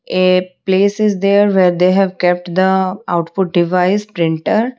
a place is there where they have kept the output device printer.